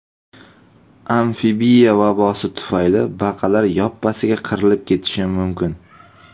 "Amfibiya vabosi" tufayli baqalar yoppasiga qirilib ketishi mumkin.